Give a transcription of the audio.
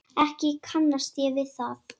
Ekki kannast ég við það.